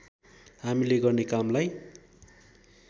हामीले गर्ने कामलाई